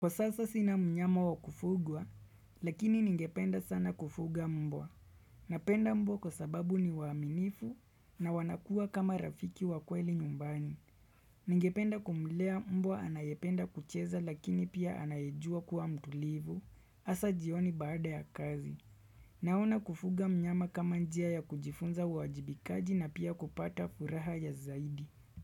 Kwa sasa sina mnyama wa kufugwa, lakini ningependa sana kufuga mbwa. Napenda mbwa kwa sababu ni waaminifu na wanakua kama rafiki wa kweli nyumbani. Ningependa kumlea mbwa anayependa kucheza lakini pia anayejua kuwa mtulivu, hasa jioni baada ya kazi. Naona kufuga mnyama kama njia ya kujifunza uwajibikaji na pia kupata furaha ya zaidi.